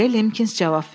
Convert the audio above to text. deyə Limkins cavab verdi.